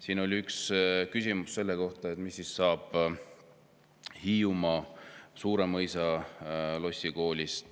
Siin oli üks küsimus selle kohta, mis saab Hiiumaal Suuremõisas asuvast koolist.